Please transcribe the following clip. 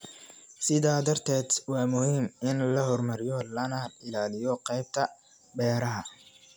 Sidaa darteed, waa muhiim in la horumariyo lana ilaaliyo qaybta beeraha.